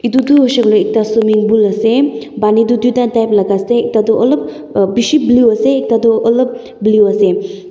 itudu huishe kuile ekta swimming bool ase baani toh duita type laga ase ekta toh olop bishi blue ase ekta toh olop blue ase.